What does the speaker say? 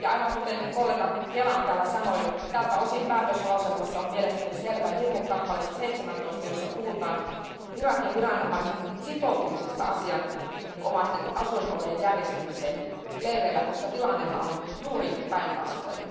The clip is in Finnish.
Aivan kuten kollega Kelam täällä sanoi, tältä osin päätöslauselmassa on mielestäni selvä virhe 17 kappaleessa, jossa puhutaan Irakin viranomaisten sitoutumisesta asianomaisten asuinolojen järjestämiseen leireillä, koska tilannehan on juuri päinvastoin.